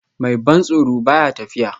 Mai ban tsoro ba ya tafiya